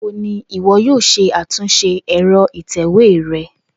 Nigbawo ni iwọ yoo ṣe atunṣe ẹ̀rọ ìtèwé rẹ?